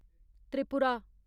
Tripura